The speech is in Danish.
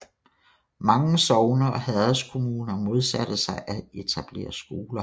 Mange sogne og herredskommuner modsatte sig at etablere skoler